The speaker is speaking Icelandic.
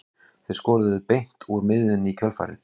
Þeir skoruðu beint úr miðjunni í kjölfarið.